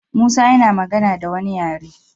Musa yana magana da wani yaren